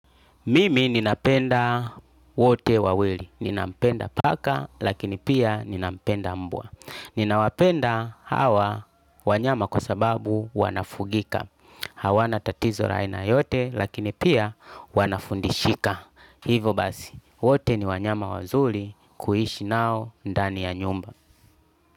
Mimi ninapenda wote wawili. Ninampenda paka lakini pia ninampenda mbwa. Ninawapenda hawa wanyama kwa sababu wanafugika. Hawana tatizo la aina yoyote lakini pia wanafundishika. Hivo basi. Wote ni wanyama wazuli. Kuishi nao ndani ya nyumba.